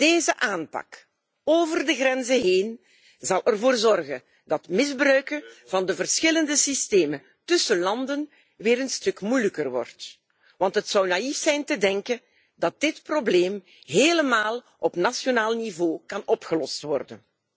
Deze aanpak over de grenzen heen zal ervoor zorgen dat misbruiken van de verschillende systemen tussen landen weer een stuk moeilijker worden, want het zou naïef zijn te denken dat dit probleem helemaal op nationaal niveau kan opgelost worden.